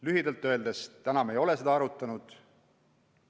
Lühidalt öeldes: praegu me ei ole seda arutanud.